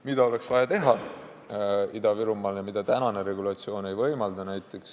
Mida oleks vaja teha Ida-Virumaal ja mida tänane regulatsioon ei võimalda?